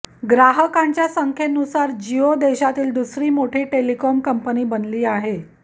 ग्राहकांच्या संख्येनुसार जिओ देशातील दुसरी मोठी टेलिकॉम कंपनी बनली आहे